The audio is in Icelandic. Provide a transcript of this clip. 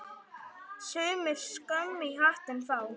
Sumir skömm í hattinn fá.